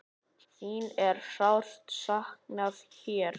Þín er sárt saknað hér.